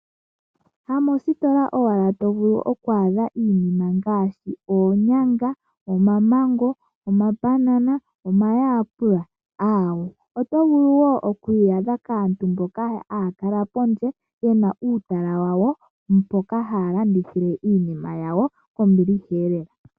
Ha mositola owa la to vulu oku adha iinima ngaashi oonyanga, omamango, omambanana, omayaapula, aawo. Oto vulu wo oku yi adha kaantu mboka haya kala pondje yena uutala wawo, mpoka haya landithithile iinima yawo kombiliha lela.